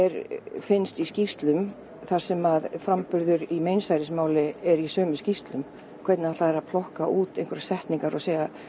finnst í skýrslum þar sem framburður í meinsærismáli er í sömu skýrslu hvernig ætla þeir að plokka út einhverjar setningar og segja